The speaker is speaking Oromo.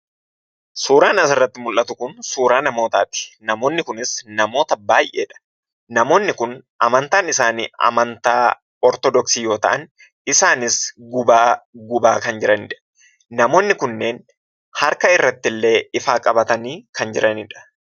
Suuraan asirratti mul'atu kun suuraa namootati. Namoonni kunis namoota baay'eedha. Namoonni kun amantaan isaani amantaa Ortoodoksii yoo ta'an isaanis gubaa gubaa kan jiranidha. Namoonni kunneen harkaa irrattille ifa qabatani kan jiranidha.